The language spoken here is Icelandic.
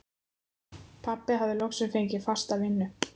Pabbi hafði loks fengið fasta vinnu.